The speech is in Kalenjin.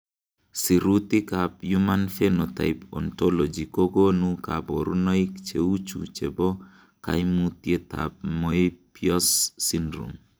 Sirutikab Human Phenotype Ontology kokonu koborunoik cheuchu chebo koimutietab Moebius syndrome .